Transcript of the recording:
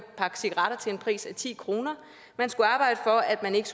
pakke cigaretter til en pris af ti kroner man skulle arbejde for at der ikke